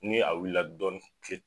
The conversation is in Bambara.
Ni a wulila dɔɔnin